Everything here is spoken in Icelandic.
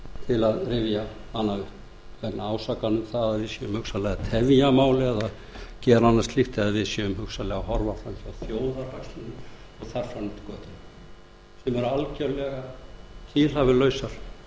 til að rifja hana upp vegna ásakana um að við séum hugsanlega að tefja mál eða gera annað slíkt eða við séum hugsanlega að horfa fram hjá þjóðarhagsmunum og þar fram eftir götunum sem